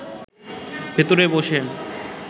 ভিতরে বসে